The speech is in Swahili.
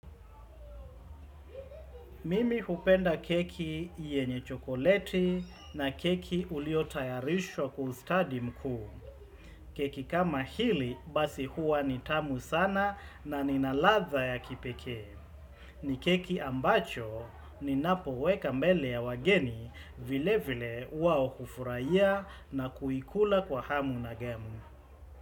Mimi hupenda keki yenye chokoleti na keki ulio tayarishwa kustadi mkuu. Keki kama hili basi huwa ni tamu sana na ina ladha ya kipeke. Ni keki ambacho ninapoweka mbele ya wageni vile vile wao hufuraia na kuikula kwa hamu na gamu.